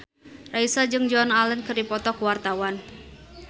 Raisa jeung Joan Allen keur dipoto ku wartawan